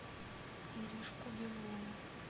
иришку белову